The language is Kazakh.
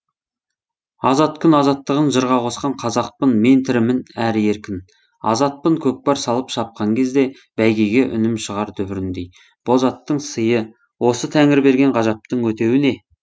азат күн азаттығын жырға қосқан қазақпын мен тірімін әрі еркін азатпын көкпар салып шапқан кезде бәйгеге үнім шығар дүбіріндей боз аттың сыйы осы тәңір берген ғажаптың өтеуі не